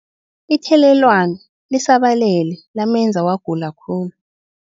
Ithelelwano lisabalele lamenza wagula khulu.